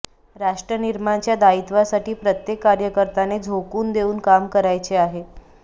राष्ट्रनिर्माणच्या दायित्वासाठी प्रत्येक कार्यकर्त्याने झोकून देऊन काम करायचे आहे